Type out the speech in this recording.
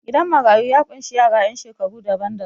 Gidan marayu ya ƙunshi yasa ƴan shekaru daban-daban.